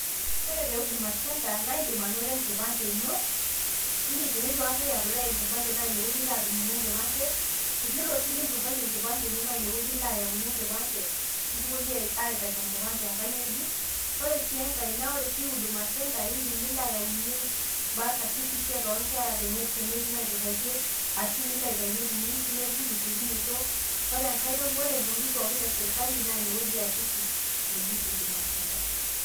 Ore te Huduma center naa aaindim anoto enkipande ino, tenitu aikata i apply naa inewueji ilo adumuny'ie enkipande, tenilo sii ninturrayie enkipande ino naa inewueji ilo ayauny'ie enkipande, nikipuoi aitaki enkae ng'ejuk. Ore sii enkae naa ore sii Huduma center iindim nilo ayauny'ie birth certificate oo nkerra tenetii inaiturraitie, ashu nilo aitayuny'ie teniyieu sii nepuko te esiokinoto, ore intokitin pookin e sirkali naa inewueji eesieki neji Huduma center.